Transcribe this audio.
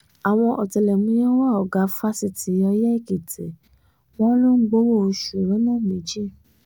um àwọn ọ̀tẹlẹ̀múyẹ́ ń wá ọ̀gá àgbà fásitì ọyẹ́ èkìtì wọ́n lọ um ń gbowó-oṣù lọ́nà méjì